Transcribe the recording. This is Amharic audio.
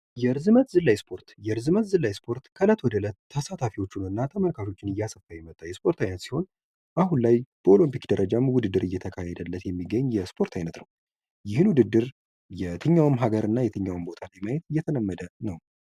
የእርዝመት ዝላይ ስፖርት የርዝመት ዝላይ ስፖርት ከእለት ወደ እለት ተሳታፊዎቹንናተመልካቾቹን እያስፋ የመጣ የስፖርት አይነት ሲሆን አሁን ላይ በኦሎምፒክ ደረጃ ውድድር እየተካሄደለት የሚገኝ የስፖርት አይነት ነው ይህም ውድድር የትኛውም ሀገርና የትኛውም ቦታ ዕድሜ ላይ የተለመደ ነው